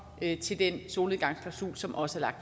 til den solnedgangsklausul som også er